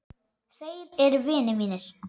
Þeir eru vinir mínir.